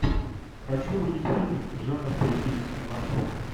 хочу увидеть фильмик жанр туристические маршруты